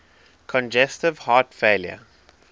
congestive heart failure